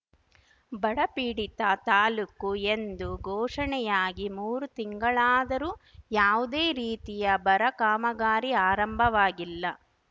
ಬಡ ಪೀಡಿತ ತಾಲೂಕು ಎಂದು ಘೋಷಣೆಯಾಗಿ ಮೂರು ತಿಂಗಳಾದರೂ ಯಾವುದೇ ರೀತಿಯ ಬರ ಕಾಮಗಾರಿ ಆರಂಭವಾಗಿಲ್ಲ